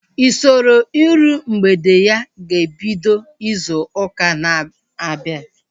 Usoro iru mgbede ya ga-ebido izu ụka na-abịa